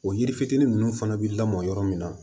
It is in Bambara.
O yiri fitinin ninnu fana bɛ lamɔ yɔrɔ min na